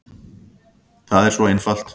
Það er svo einfalt.